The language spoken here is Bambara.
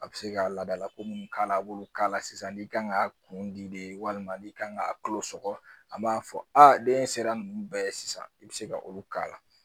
A bɛ se ka laadalako mun k'a la a b'olu k'a la sisan ni kan ka kun di de walima n'i kan ka kalo sɔgɔ an b'a fɔ a den sera ninnu bɛɛ ye sisan i bɛ se ka olu k'a la